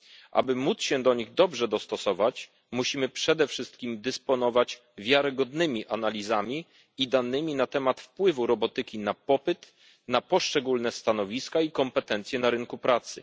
Aby móc się do nich dobrze dostosować, musimy przede wszystkim dysponować wiarygodnymi analizami i danymi na temat wpływu robotyki na popyt, na poszczególne stanowiska i kompetencje na rynku pracy.